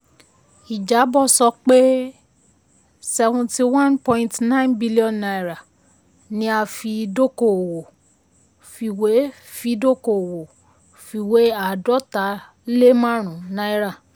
ìjábọ̀ sọ pé seventy one point nine billion naira ni a fi dóko òwọ̀ fiwé fi dọ́kowọ̀ fìwée àádọta lé márùn naira.